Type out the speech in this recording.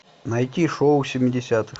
найти шоу семидесятых